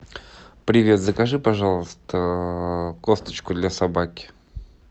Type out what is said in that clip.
привет закажи пожалуйста косточку для собаки